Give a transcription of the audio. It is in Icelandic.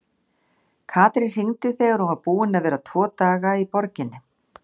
Katrín hringdi þegar hún var búin að vera tvo daga í borginni.